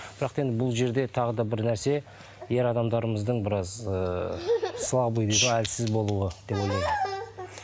бірақ та енді бұл жерде тағы да бір нәрсе ер адамдарымыздың біраз ыыы слабый дейді ғой әлсіз болуы деп ойлаймын